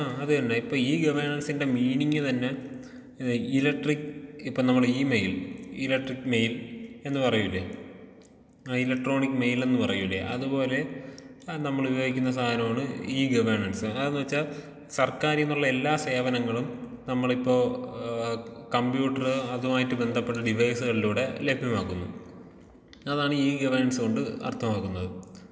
ആ അതന്നെ ഇപ്പോ ഈ ഗവർണൻസിന്റെ മീനിങ്ങ് തന്നെ ഏ ഇലക്ട്രിക് ഇപ്പോ നമ്മടെ ഈ മെയിൽ ഇലക്ട്രിക് മെയിൽ എന്നു പറയൂലെ ആ ഇലക്ട്രോണിക് മെയിലെന്നു പറയൂലെ അതുപോലെ ആ നമ്മളുപയോഗിക്കുന്ന സാധനമാണ് ഈ ഗവേണൻസ് അതെന്നു വെച്ചാ സർക്കാരിൽ നിന്നുള്ള എല്ലാ സേവനങ്ങളും നമ്മളിപ്പോ ആ കമ്പ്യൂട്ടർ അതുമായിട്ട് ബന്ധപ്പെട്ട ഡിവൈസുകളിലൂടെ ലഭ്യമാക്കുന്നു അതാണ് ഈ ഗവേണൻസ് കൊണ്ട് അർത്ഥമാക്കുന്നത്.